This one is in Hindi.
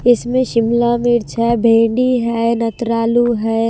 इसमें शिमला मिर्च है भेंडी है नत्रालु है।